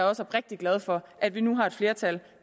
også oprigtig glad for at vi nu har et flertal